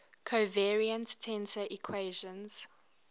covariant tensor equations